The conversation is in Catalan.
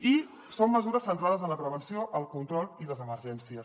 i són mesures centrades en la prevenció el control i les emergències